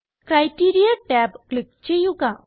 criteria tab click ചെയ്യുക